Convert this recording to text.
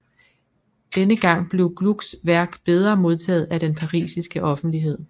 Denne gang blev Glucks værk bedre modtaget af den parisiske offentlighed